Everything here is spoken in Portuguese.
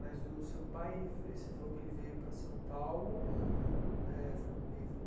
Mas o seu pai, ele ve você falou que ele veio para São Paulo aham eh foi no meio.